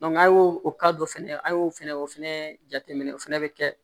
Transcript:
an y'o o dɔ fɛnɛ an y'o fɛnɛ o fɛnɛ jateminɛ o fɛnɛ be kɛ